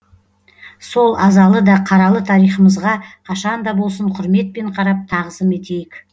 сол азалы да қаралы тарихымызға қашанда болсын құрметпен қарап тағзым етейік